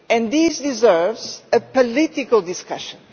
This deserves a political discussion.